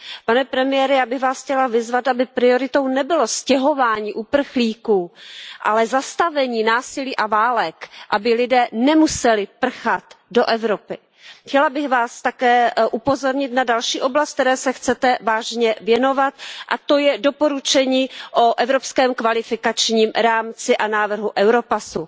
Pane premiére, já bych Vás chtěla vyzvat, aby prioritou nebylo stěhování uprchlíků, ale zastavení násilí a válek, aby lidé nemuseli prchat do Evropy. Chtěla bych Vás také upozornit na další oblast, které se chcete vážně věnovat, a to je doporučení o evropském kvalifikačním rámci a návrhu Europass.